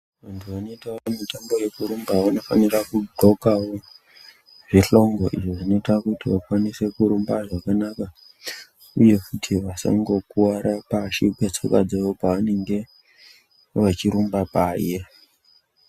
Vantu vanoitawo mitambo yekurumba vanofanira kugonka zvihlongo izvo zvinoita kuti vakwanise kurumba zvakanaka uye futi vasangokuwara pashi petsoka dzawo pavanenge vachirumba paye.